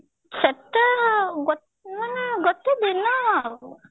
ସେତେ ଗୋ ମାନେ ଗୋଟେ ଦିନ ଆଉ